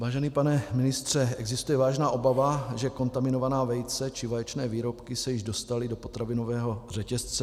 Vážený pane ministře, existuje vážná obava, že kontaminovaná vejce či vaječné výrobky se již dostaly do potravinového řetězce.